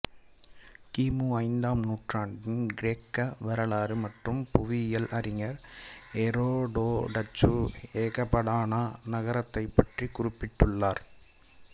கிமு ஐந்தாம் நூற்றாண்டின் கிரேக்க வரலாறு மற்றும் புவியியல் அறிஞர் எரோடோட்டசு எகபடானா நகரத்தைப் பற்றி குறிப்பிட்டுள்ளார்